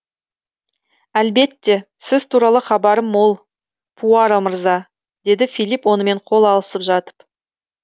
әлбетте сіз туралы хабарым мол пуаро мырза деді филип онымен қол алысып жатып